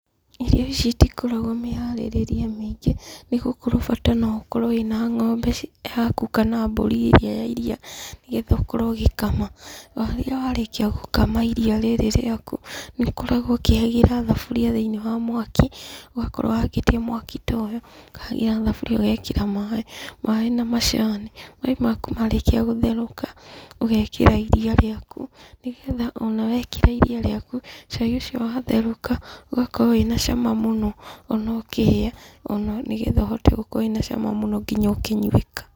Irio ici itikoragwo mĩharĩrĩrie mĩingĩ, nĩ gũkorwo bata no ũkorwo wĩna ng'ombe yaku kana mbũri ĩrĩa ya iriia, nĩgetha ũkorwo ũgĩkama, o rĩrĩa warĩkia gũkama iriia rĩri rĩaku, nĩũkoragwo ũkĩhagĩra thaburia thĩiniĩ wa mwaki, ũgakorwo wakĩtie mwaki ta ũyũ, ũkahagĩra thaburia ũgekĩra maĩ, maĩ na macani. Maĩ maku marĩkia gũtherũka, ũgekĩra iria rĩaku nĩgetha ona wekĩra iria rĩaku cai ũcio watherũka ũgakorwo wĩna cama mũno, ona ũkĩhĩa ona nĩgetha ũhote gũkorwo wĩ na cama mũno nginya ũkĩnywĩka.